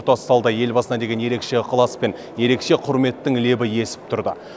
тұтас залда елбасына деген ерекше ықылас пен ерекше құрметтің лебі есіп тұрды